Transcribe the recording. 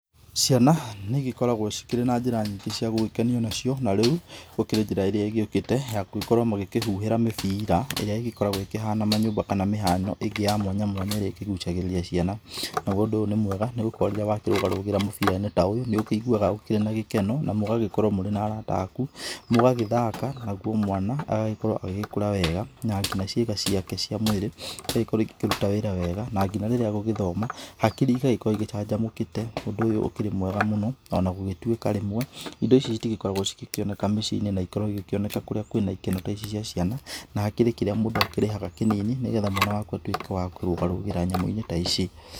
Ciana nĩigĩkoragwo cikĩri na njĩra nyingĩ cia gũgĩkenio nacio, na rĩu gũkĩrĩ njĩra ĩrĩa ĩgĩũkĩte ya gũgĩkorwo magĩkĩhuhĩra mĩbira, ĩrĩa ĩgĩkoragwo ĩkĩhana manyũmba kana mĩhano ĩngĩ ya mwanya mwanya ĩrĩa ĩkĩgucagĩrĩria ciana. Naguo ũndũ ũyũ nĩmwega nĩgũkorwo rĩrĩa wakĩrũgarũgĩra mũbira-inĩ ta ũyũ nĩũkĩiguaga ũkĩrĩ na gĩkeno, na mũgagĩkorwo mũrĩ na arata aku. Mũgagĩthaka, naguo mwana agagĩkorwo agĩgĩkũra wega na nginya ciĩga ciake cia mwĩrĩ ĩgagĩkorwo igĩkĩruta wĩra wega. Na nginya rĩrĩa agũgĩthoma, hakiri igagĩkorwo igĩcanjamũkĩte. Ũndũ ũyũ ũkĩrĩ mwega mũno, onagũgĩtuĩka, indo ici itĩgĩkoragwo cĩgĩkĩoneka mĩcinĩ na igĩkoragwo igĩkĩoneka kũrĩa kwĩ na ikeno ta ici cia ciana. Na hakĩrĩ kĩrĩa mũndũ akĩrĩhaga kĩnĩni, nĩgetha mwana wakũ atuĩke wa kũrũga rũgĩra nyamũ-inĩ ta ici.